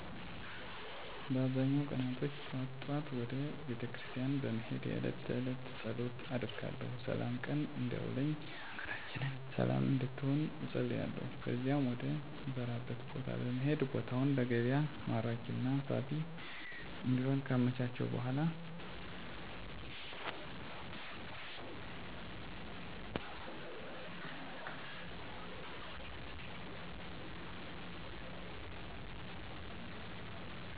በአብዛኛው ቀናቶች ጠዋት ጠዋት ወደ ቤተክርስቲያን በመሄድ የእለት ተእለት ፀሎት አደርጋለሁ ስላም ቀን እንዲያውለኝ ሀገራችንን ሰለም እንድትሆን እፀልያለሁ ከዚያም ወደ ምሰራበት ቦታ በመሄድ ቦታውን ለገቢያ ማራኪና ሳቢ እንዲሆን ካመቻቸሁ በኃላ ለእለት ልሸጣቸው የምችለዉን አትክልቶች ድንች ቲማቲም ቃሪያ ጎመን ቀይስር ካሮት የመሳሰሉትንእንደየ መጠናቸው ከጀምላ አከፋፋይ ነጋዴዎች ቲማቲሙን እና ከአምራች ገበሬ ደግሞ ሌሎችን ባለው የገቢያ ዋጋ ገዝቼ ወደ ጉልት ገቢያየ መጥቸ እየቸረቸርኩ እሸጣለሁ